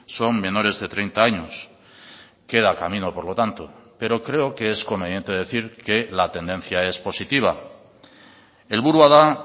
son menores de treinta años queda camino por lo tanto pero creo que es conveniente decir que la tendencia es positiva helburua da